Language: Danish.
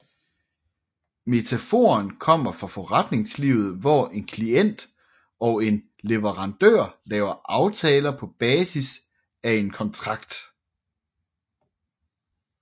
Metaforen kommer fra forretningslivet hvor en klient og en leverandør laver aftaler på basis af en kontrakt